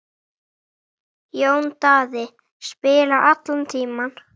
Jón Daði spilaði allan tímann.